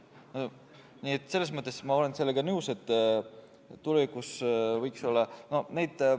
Nii et selles mõttes olen ma nõus, et tulevikus võiks nii olla.